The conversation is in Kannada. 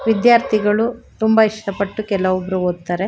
ವಿದ್ಯಾರ್ಥಿಗಳು ತುಂಬಾ ಇಷ್ಟ ಪಟ್ಟು ಕೆಲಒಬ್ರು ಒತ್ತಾರೆ.